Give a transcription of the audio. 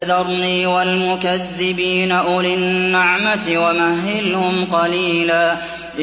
وَذَرْنِي وَالْمُكَذِّبِينَ أُولِي النَّعْمَةِ وَمَهِّلْهُمْ قَلِيلًا